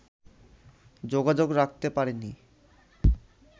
যোগাযোগ রাখতে পারিনি